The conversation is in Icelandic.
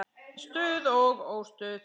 Stuð og óstuð.